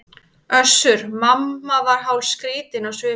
Össur-Mamma var hálfskrýtinn á svipinn.